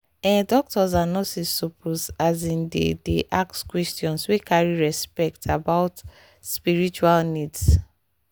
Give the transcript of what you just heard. ehh doctors and nurses suppose asin dey dey ask questions wey carry respect about spiritual needs.